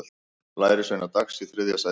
Lærisveinar Dags í þriðja sætið